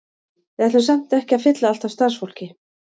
Við ætlum samt ekki að fylla allt af starfsfólki.